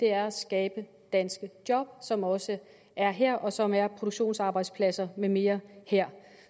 er at skabe danske job som også er her og som er produktionsarbejdspladser med mere her